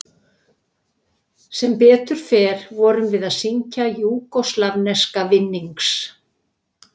Sem betur fer vorum við að syngja júgóslavneska vinnings